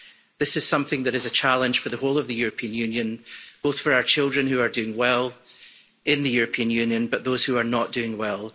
This is something that is a challenge for the whole of the European Union, both for our children, who are doing well in the European Union, but those who are not doing well.